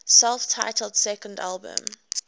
self titled second album